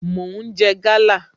Mo ń jẹ gala